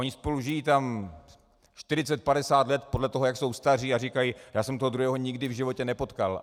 Oni spolu tam žijí 40, 50 let podle toho, jak jsou staří, a říkají: já jsem toho druhého nikdy v životě nepotkal.